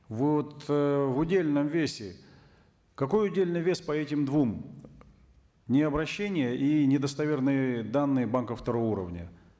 вы вот ыыы в удельном весе какой удельный вес по этим двум необрощение и недостоверные данные банка второго уровня